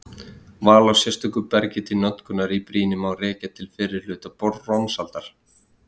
Val á sérstöku bergi til notkunar í brýni má rekja til fyrri hluta bronsaldar.